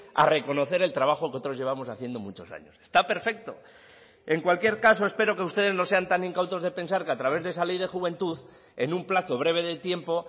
a reconocer el trabajo que otros llevamos haciendo muchos años está perfecto en cualquier caso espero que ustedes no sean tan incautos de pensar que a través de esa ley de juventud en un plazo breve de tiempo